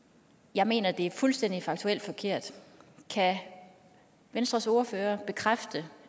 jeg mener at det er fuldstændig faktuelt forkert kan venstres ordfører bekræfte